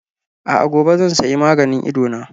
A'a, gobe zan sayi maganin Idona.